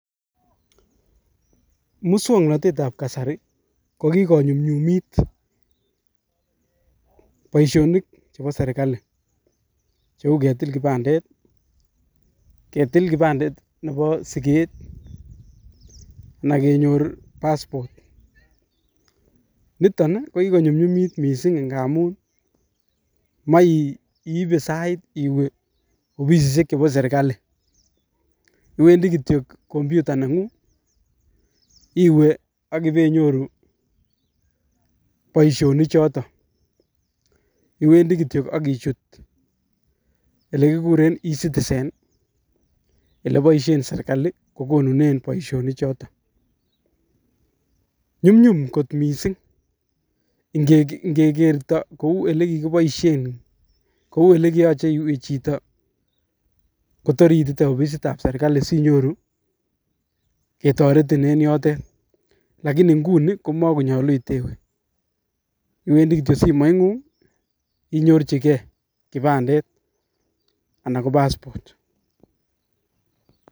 Muswongnotet ab kasari, ko kikonyumnyumit boisionik chebo serikali, cheu ketil kibandet, ketil kibandet nebo siket, anan kenyor passport, niton ko kikonyumnyumit mising ngamun Maiibe sait iwe ofisiiek chebo serikali, iwendi kityok computer negung ii, iwe ak ibei nyoru, boisioni chotok, iwendi kityok ak ichut ole kikuren e citizen ii, ole boisien serikali ko konunen boisioni chotok, nyumnyum kot mising ingegerto kou ole ki koboisien, kou ole kiyoche iwe chito kotor ii ititeti ofisit ab serikali sinyoru ketoretin eng yotet, lakini inguni ko makonyolu itewe, iwendi kityok simoit ngung inyorchiken kibandet anan ko passport.